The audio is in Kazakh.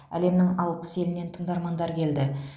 әлемнің алпыс елінен тыңдармандар келді